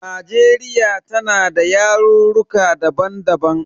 Najeriya tana da yarurruka daban daban.